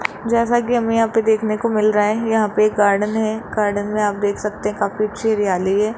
जैसा कि हमें यहां पे देखने को मिल रहा है यहां पे गार्डन है गार्डन में आप देख सकते हैं काफी अच्छी हरियाली है।